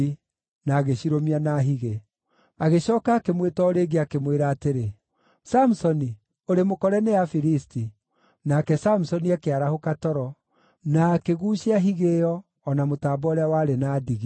na agĩcirũmia na higĩ. Agĩcooka akĩmwĩta o rĩngĩ, akĩmwĩra atĩrĩ, “Samusoni, ũrĩ mũkore nĩ Afilisti!” Nake Samusoni akĩarahũka toro, na akĩguucia higĩ ĩyo, o na mũtambo ũrĩa warĩ na ndigi.